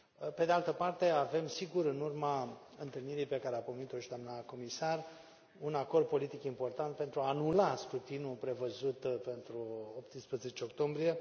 Pe de altă parte avem, sigur, în urma întâlnirii pe care a pomenit o și doamna comisar, un acord politic important pentru a anula scrutinul prevăzut pentru 18 octombrie.